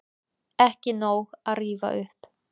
Ekki nóg að rífa upp